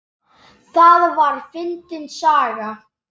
Það var fyndin saga.